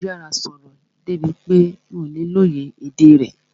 Ó yára sọ̀rọ̀ débi pé mi ò lè lóye èdè rẹ̀